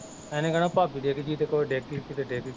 ਏਹਣੇ ਕਹਿਣਾ ਭਾਬੀ ਡਿੱਗਦੀ ਤੇ ਕੋਈ ਡਿੱਗਗਈ ਤੇ ਡਿੱਗਗਈ